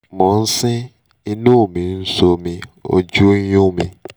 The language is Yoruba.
mo ń sín imú mi ń ṣomi ojú ń yún mi